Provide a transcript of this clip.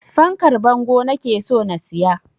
Fankar bango nake so na siya